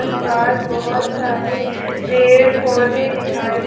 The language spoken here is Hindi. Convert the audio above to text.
आसपास बहोत सारे पेड़ पौधे दिखाई दे--